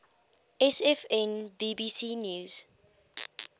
sfn bbc news